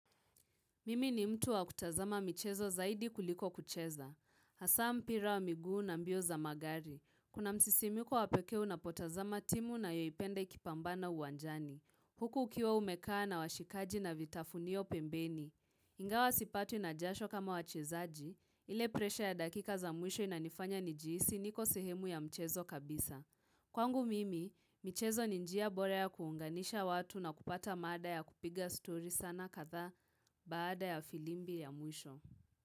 Mimi ni mtu wa kutazama michezo zaidi kuliko kucheza. Hasa mpira wa miguu na mbio za magari. Kuna msisimuko wa pekee unapotazama timu unayoipenda ikipambana uwanjani. Huku ukiwa umekaa na washikaji na vitafunio pembeni. Ingawa sipatwi na jasho kama wachezaji. Ile presha ya dakika za mwisho inanifanya nijihisi niko sehemu ya mchezo kabisa. Kwangu mimi, michezo ni njia bora ya kuunganisha watu na kupata mada ya kupiga story sana kadhaa. Baada ya filimbi ya mwisho.